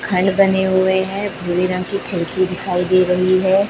घल बने हुए हैं भूरे रंग की खिड़की दिखाई दे रही है।